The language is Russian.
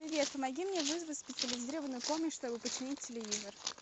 привет помоги мне вызвать специализированную помощь чтобы починить телевизор